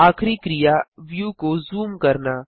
आखिरी क्रिया व्यू को जूम करना